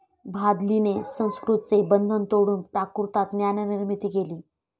भादलीने संस्कृतचे बंधन तोडून प्राकृतात ज्ञाननिर्मिती केली.